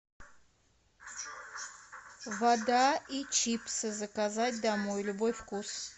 вода и чипсы заказать домой любой вкус